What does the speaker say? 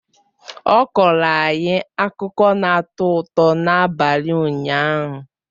Ọ kọọrọ anyị akụkọ na-atọ ụtọ n'abalị ụnyaahụ